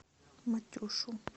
матюшу